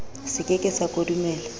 se ke ke sa kodumela